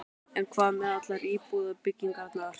En hvað með allar íbúðabyggingarnar?